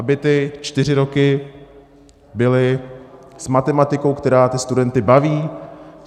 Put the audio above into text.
Aby ty čtyři roky byly s matematikou, která ty studenty baví?